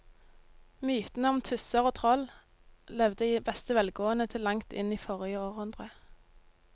Mytene om tusser og troll levde i beste velgående til langt inn i forrige århundre.